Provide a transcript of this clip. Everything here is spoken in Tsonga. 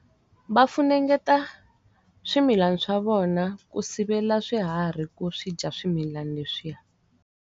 Va funengeta swimilani swa vona ku sivela swiharhi ku swi dya swimilana leswiya.